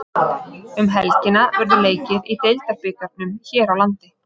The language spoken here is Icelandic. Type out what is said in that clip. Um helgina verður leikið í Deildabikarnum hér landi.